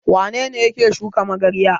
Wane ne yake shuka magarya?